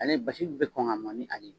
Ale basi bɛɛ kɔn ka mɔn ni a ye